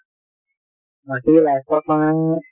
বাকী life ত মানে